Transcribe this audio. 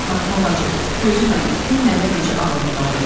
"Fatma bacı, gözün aydın, gör nəvən necə ağıllı bala olub.